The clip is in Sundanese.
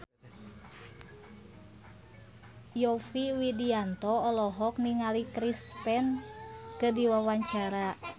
Yovie Widianto olohok ningali Chris Pane keur diwawancara